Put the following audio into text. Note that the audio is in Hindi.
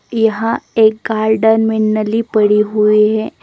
यहा एक गार्डन में नली पड़ी हुई है।